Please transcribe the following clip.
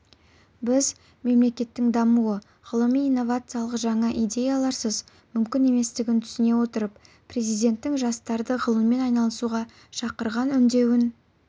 біз мемлекеттің дамуы ғылыми-инновациялық жаңа идеяларсыз мүмкін еместігін түсіне отырып президенттің жастарды ғылыммен айналысуға шақырған үндеуін